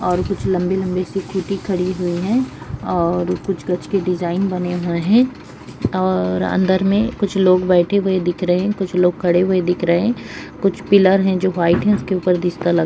और कुछ लंबी लंबी-सी स्कूटी खड़ी हुई हैं और कुछ गछ के डिज़ाइन बने हुए हैं और अंदर में कुछ लोग बैठे हुए दिख रहे है कुछ लोग खड़े हुए दिख रहे हैं कुछ पिलर है जो व्हाइट हैं उसके ऊपर दिश्ता लग --